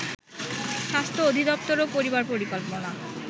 স্বাস্থ্য অধিদপ্তর ও পরিবার পরিকল্পনা